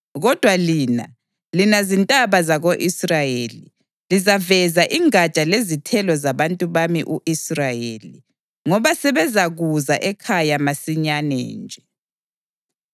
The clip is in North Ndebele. Kodwa lina, lina zintaba zako-Israyeli, lizaveza ingatsha lezithelo zabantu bami u-Israyeli, ngoba sebezakuza ekhaya masinyane nje.